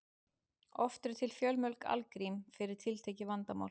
oft eru til fjölmörg algrím fyrir tiltekið vandamál